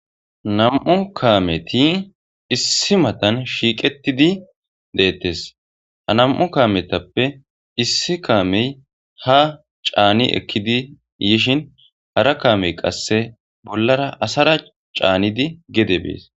nam7u kaameti issi matan shiiqetidi deettes ha nam7u kaametappe issi kaamey ha caani ekkidi yishin hara kaamey qasse bollara asara caanidi gede bees.